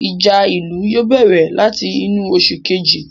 Ìjà ìlú yóò bẹ̀rẹ̀ láti inú oṣù Kejì